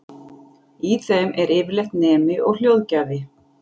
Í þeim er yfirleitt nemi og hljóðgjafi.